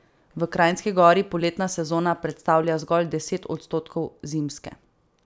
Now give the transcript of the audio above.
V Kranjski Gori poletna sezona predstavlja zgolj deset odstotkov zimske.